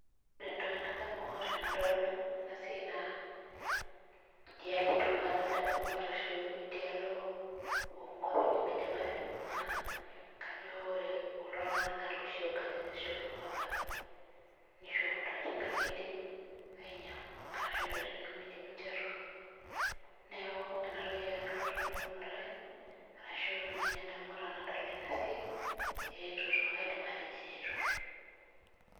Ore entoki nadamu tenadol ena naa idialo e turkana adamu arashu idialo oo nkuapi nemidim ate, neeku Kajo loshi tunganak kulo oopuo aabaiki neeku kaidim atejo eretoto.